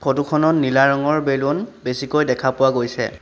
Photo খনত নীলা ৰঙৰ বেলুন বেছিকৈ দেখা পোৱা গৈছে।